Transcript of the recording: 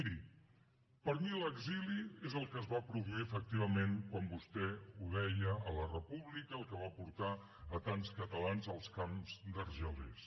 miri per mi l’exili és el que es va produir efectivament quan vostè ho deia a la república el que va portar tants catalans als camps d’argelès